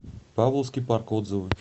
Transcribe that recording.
павловский парк отзывы